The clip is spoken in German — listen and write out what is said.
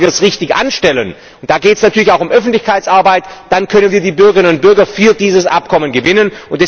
Wenn wir es richtig anstellen und da geht es natürlich auch um Öffentlichkeitsarbeit dann können wir die Bürgerinnen und Bürger für dieses Abkommen gewinnen.